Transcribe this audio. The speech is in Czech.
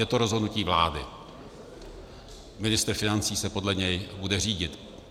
Je to rozhodnutí vlády, ministr financí se podle něj bude řídit.